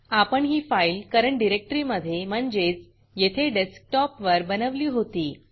आपण ही file current डिरेक्टरीमधे म्हणजेच येथे डेस्कटॉपवर बनवली होती